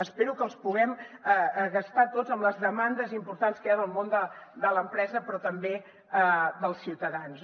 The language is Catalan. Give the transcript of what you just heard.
espero que els puguem gastar tots amb les demandes importants que hi ha del món de l’empresa però també dels ciutadans